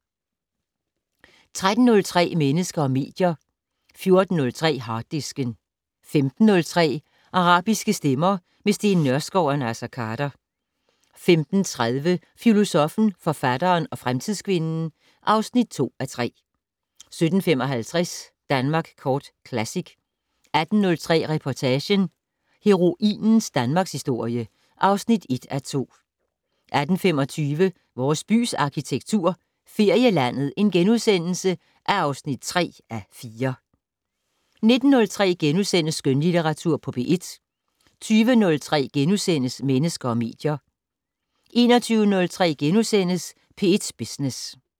13:03: Mennesker og medier 14:03: Harddisken 15:03: Arabiske stemmer - med Steen Nørskov og Naser Khader 15:30: Filosoffen, forfatteren og fremtidskvinden (2:3) 17:55: Danmark Kort Classic 18:03: Reportagen: Heroinens danmarkshistorie (1:2) 18:25: Vores bys arkitektur - Ferielandet (3:4)* 19:03: Skønlitteratur på P1 * 20:03: Mennesker og medier * 21:03: P1 Business *